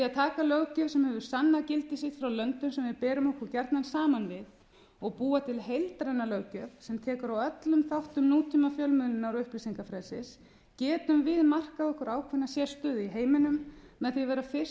að taka löggjöf sem hefur sannað gildi sitt frá löndum sm við berum okkur gjarnan saman við og búa til heildræna löggjöf sem tekur á öllum þáttum nútímafjölmiðlunar og upplýsingafrelsis getum við markað okkur ákveðna sérstöðu í heiminum með því að vera fyrst til að